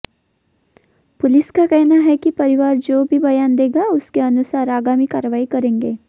police का कहना है कि परिवार जो भी बयान देगा उसके अनुसार आगामी कार्रवाई करेंगे